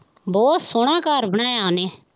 ਬਹੁਤ ਸੋਹਣਾ ਘਰ ਬਣਾਇਆ ਉਹਨੇ